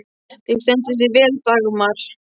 Þú stendur þig vel, Dagmar!